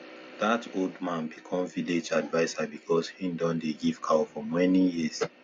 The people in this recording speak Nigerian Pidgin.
that old man become village adviser because he don dey give cow for many years